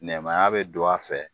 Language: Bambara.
Nɛmaya bɛ don a fɛ.